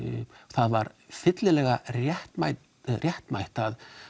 það var fyllilega réttmætt réttmætt að